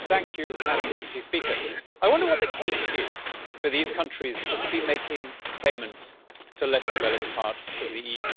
Madam President, I wonder what the case is for these countries to be making payments to less developed parts of the EU.